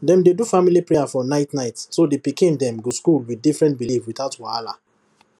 dem dey do family prayer for night night so the pikin dem go school with different belief without wahala